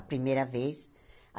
A primeira vez.